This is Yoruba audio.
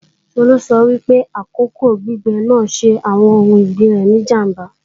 Tolú sọ wípé àkókò gbígbẹ́ náà ṣe àwọn oun ọ̀gbìn rẹ̀ ní ìjàmbá